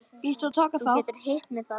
Þú getur hitt mig þar.